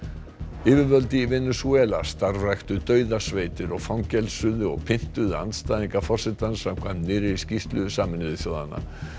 yfirvöld í Venesúela starfræktu dauðasveitir og fangelsuðu og pyntuðu andstæðinga forsetans samkvæmt nýrri skýrslu Sameinuðu þjóðanna